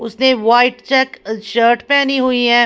उसने white check shirt पहनी हुई है ।